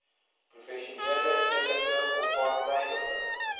professionele eerlike onpartydige